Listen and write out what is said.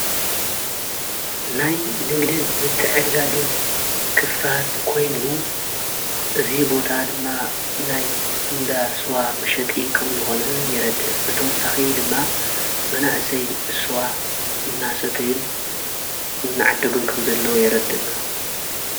ናይ ንግድን ምትዕድዳግን ክፋል ኮይኑ እዙይ ቦታ ድማ ናይ እንዳ ስዋ ምሸጢ ኸም ዝኾነ የረድእ ብተወሳኺ ድማ መናእሰይ እስዋ እናሰተዩን እናዓደጕን ከም ዘለዉ የረድእ።